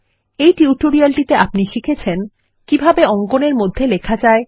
এই টিউটোরিয়ালটিতে আপনি শিখেছেন কিভাবে অঙ্কন এর মধ্যে লেখা যায়